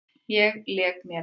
Ég lék mér ein.